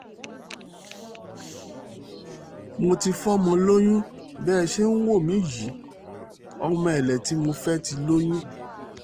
mo ti fọmọ lóyún bẹ́ ẹ ṣe ń wò mí yìí ọmọ èlé tí mò ń fẹ́ ti lóyún